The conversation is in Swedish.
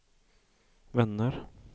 vänner